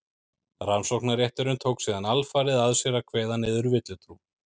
rannsóknarrétturinn tók síðan alfarið að sér að kveða niður villutrú